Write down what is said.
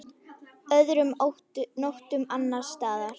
Öðrum nóttum annars staðar?